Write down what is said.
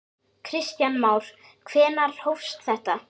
Kristján Már: Hvenær hófst þetta?